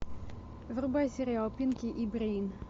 врубай сериал пинки и брейн